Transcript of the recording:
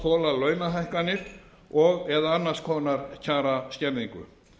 hafa mátt þola launahækkanir og eða annars konar kjaraskerðingu